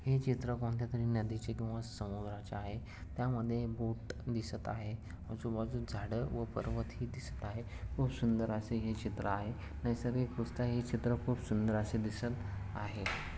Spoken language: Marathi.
हे चित्र कोणत्यातरी नदीचे किंवा समुद्राचे आहे त्यामध्ये बोट दिसत आहे आजूबाजूस झाडं व पर्वत ही दिसत आहे खूप सुंदर असे हे चित्र आहे नैसर्गिकदृष्ट्या हे चित्र खूप सुंदर असे दिसत आहे.